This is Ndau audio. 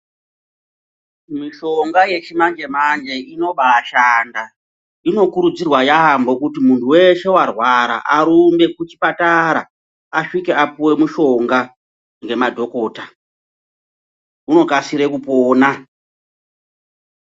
Mishonga yechimanje-manje inobaashanda. Inokurudzirwa yaampho kuti muntu weshe arwara arumbe kuchipatara, asvike apuwe mushonga ngemadhokotha. Unokasire kupona.